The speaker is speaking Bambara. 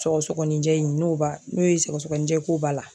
Sɔgɔsɔgɔninjɛ in n'o ba n'o ye sɔgɔsɔgɔnijɛ ko b'a la